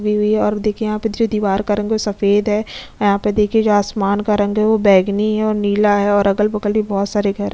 लगी हुई है और देखिये यहाँ पे जो दिवार का रंग है वो सफ़ेद है यहाँ पे देखिये जो आसमान का रंग है वो बैगनी है और नीला है और अगल बगल भी बहुत सारे घर है।